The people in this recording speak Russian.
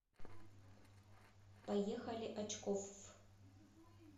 поехали очкофф